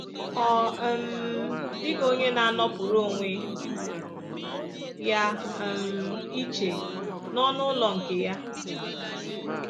Ọ um dịghị onye na-anọpụrụ onwe ya um iche n’ọnụ ụlọ nke ya